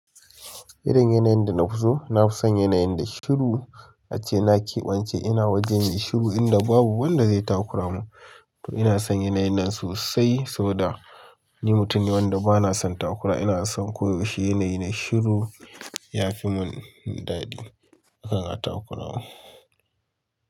Irin yanayin da na fi so? Na fi son yanayin da shiru ace. Na kebance ina waje mai shiru inda babu wanda zai takura mu. To ina son yanayi nan sosai, saboda ni mutum ne wanda bana son takura. Ina son ko yaushe yanayi na shiru yafi mun dadi ana takura min.